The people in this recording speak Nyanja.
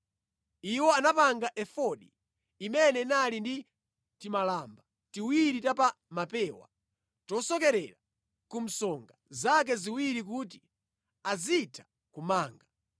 Iwo anapanga efodi imene inali ndi timalamba tiwiri ta pa mapewa, tosokerera ku msonga zake ziwiri kuti azitha kumanga.